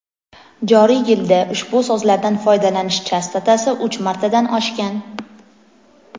joriy yilda ushbu so‘zlardan foydalanish chastotasi uch martadan oshgan.